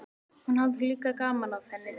Hún hafði líka gaman af henni.